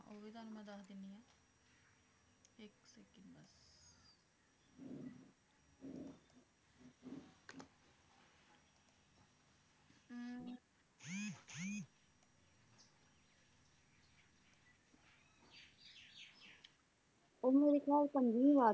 ਉਹ ਮੇਰੇ ਖਿਆਲ ਪੰਜਵੀ ਵਾਰ,